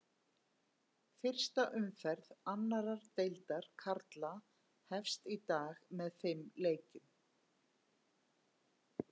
Fyrsta umferð annar deildar karla hefst í dag með fimm leikjum.